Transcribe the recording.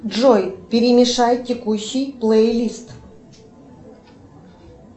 джой перемешай текущий плейлист